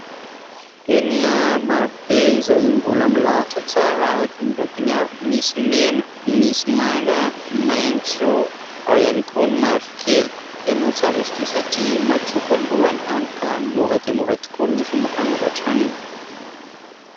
Penina maro be izay mbola milahatra tsara araka ny lokony avy, misy mena, misy manga, maitso ao ihany koa ny mavokely. Tena tsara izy ity satria matsoko ny lohany, hany ka mora dia mora tokoa ny fomba fanoratra aminy.